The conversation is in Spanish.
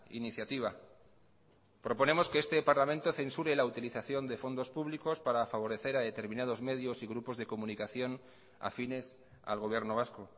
iniciativa proponemos que este parlamento censure la utilización de fondos públicos para favorecer a determinados medios y grupos de comunicación afines al gobierno vasco